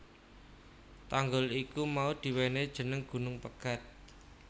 Tanggul iku mau diwenehi jeneng Gunung Pegat